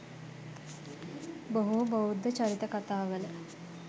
බොහෝ බෞද්ධ චරිත කතාවල